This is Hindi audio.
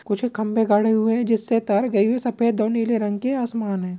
कुछ खंबे गड़े हुए जिससे तार गइ हुये सफेद दो नीले रंग के आसमान है।